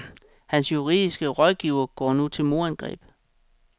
Hans juridiske rådgivere går nu til modangreb.